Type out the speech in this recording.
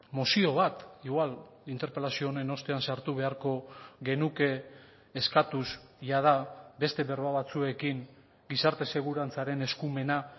mozio bat igual interpelazio honen ostean sartu beharko genuke eskatuz jada beste berba batzuekin gizarte segurantzaren eskumena